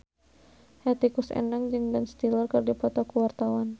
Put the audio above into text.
Hetty Koes Endang jeung Ben Stiller keur dipoto ku wartawan